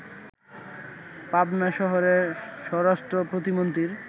পাবনা শহরে স্বরাষ্ট্র প্রতিমন্ত্রীর